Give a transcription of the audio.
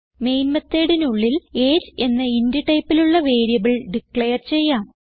main methodനുള്ളിൽ എജിഇ എന്ന ഇന്റ് ടൈപ്പിലുള്ള വേരിയബിൾ ഡിക്ലയർ ചെയ്യാം